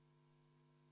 V a h e a e g